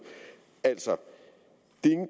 altså